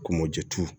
Komɔjɛtu